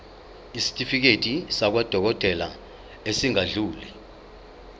isitifiketi sakwadokodela esingadluli